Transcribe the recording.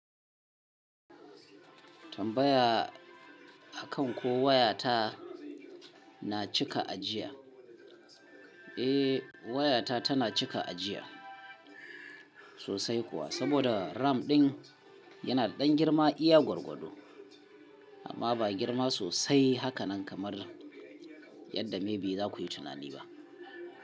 Tambaya akan ko wayata na cika ajiya? Eh, wayata tana cika ajiya sosai kuwa, saboda RAM ɗin yana da ɗan girma iya gwargwado amma ba girma sosai haka nan kamar yadda maybe za ku yi tunani ba.